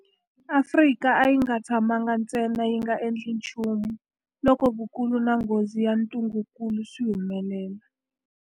Afrika a yi nga tshamangi ntsena yi nga endli nchumu loko vukulu na nghozi ya ntungukulu swi humelela.